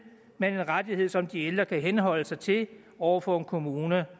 men en rettighed som de ældre kunne henholde sig til over for en kommune